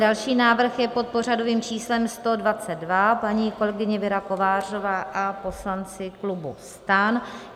Další návrh je pod pořadovým číslem 122, paní kolegyně Věra Kovářová a poslanci klubu STAN.